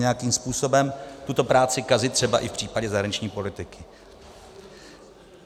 Nějakým způsobem tuto práci kazit třeba i v případě zahraniční politiky.